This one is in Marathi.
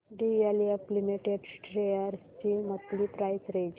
डीएलएफ लिमिटेड शेअर्स ची मंथली प्राइस रेंज